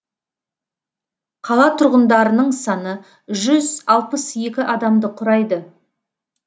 қала тұрғындарының саны жүз алпыс екі адамды құрайды